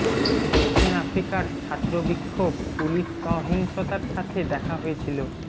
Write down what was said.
দক্ষিণ আফ্রিকার ছাত্র বিক্ষোভ পুলিশ সহিংসতার সাথে দেখা হয়েছিল